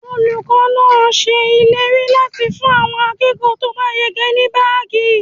Olùkọ́ ṣe ìlérí láti fún àwọn akẹ́kọ̀ọ́ to ba yege ní baagi.